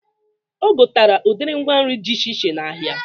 O gotere udiri ngwa nri dị iche iche n'ahia